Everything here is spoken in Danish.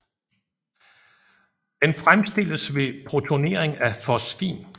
Den fremstilles ved protonering af fosfin